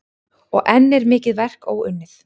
Og enn er mikið verk óunnið.